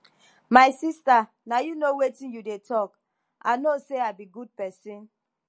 my sister na you know wetin you dey talk i know say i be good person